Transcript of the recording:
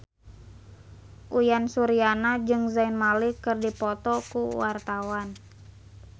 Uyan Suryana jeung Zayn Malik keur dipoto ku wartawan